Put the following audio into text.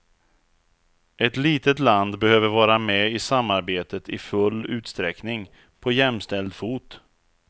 Ett litet land behöver vara med i samarbetet i full utsträckning, på jämställd fot.